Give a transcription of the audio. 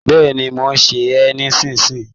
Bẹ́ẹ̀ni, mò ń sè é nísìnyí